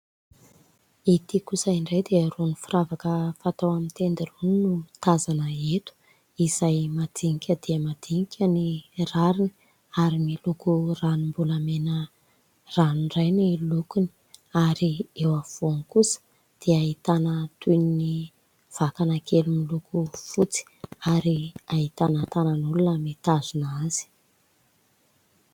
Ity kosa indray dia irony firavaka fatao amin'ny tenda irony no tazana eto ; izay madinika dia madinika ny rariny ary miloko ranom-bolamena ranoray ny lokony ary eo afovoany kosa dia ahitana toy ny vakana kely miloko fotsy ary ahitana tanan'olona mitazona azy.